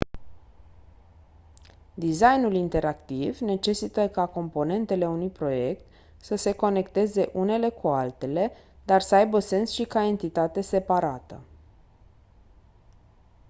designul interactiv necesită ca componentele unui proiect să se conecteze unele cu altele dar să aibă sens și ca entitate separată